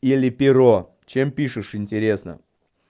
или перо чем пишешь интересно